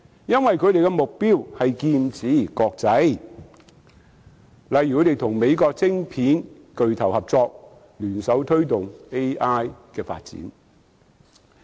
因為他們是劍指國際，例如他們與美國晶片巨頭合作，聯手推動 AI 發展。